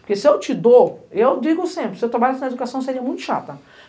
Porque se eu te dou, eu digo sempre, se eu trabalhasse na educação seria muito chata.